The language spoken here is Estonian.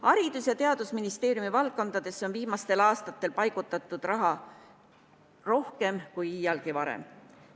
Haridus- ja Teadusministeeriumi valdkondadesse on viimastel aastatel paigutatud raha rohkem kui iialgi varem.